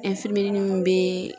mun bɛɛɛ.